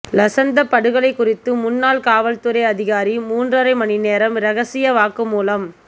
லசந்த படுகொலை குறித்து முன்னாள் காவல்துறை அதிகாரி மூன்றரை மணிநேரம் இரகசிய வாக்குமூலம்